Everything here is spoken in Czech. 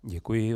Děkuji.